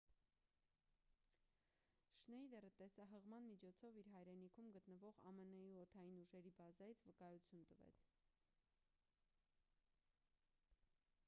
շնեյդերը տեսահղման միջոցով իր հայրենիքում գտնվող ամն-ի օդային ուժերի բազայից վկայություն տվեց